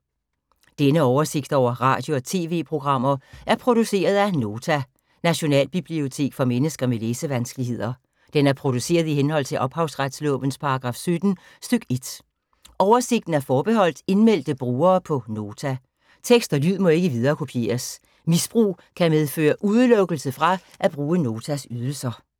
Denne oversigt over radio og TV-programmer er produceret af Nota, Nationalbibliotek for mennesker med læsevanskeligheder. Den er produceret i henhold til ophavsretslovens paragraf 17 stk. 1. Oversigten er forbeholdt indmeldte brugere på Nota. Tekst og lyd må ikke viderekopieres. Misbrug kan medføre udelukkelse fra at bruge Notas ydelser.